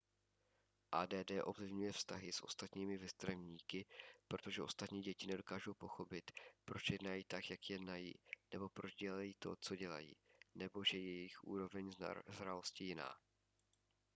add ovlivňuje vztahy s ostatními vrstevníky protože ostatní děti nedokáží pochopit proč jednají tak jak jednají nebo proč dělají to co dělají nebo že je jejich úroveň zralosti jiná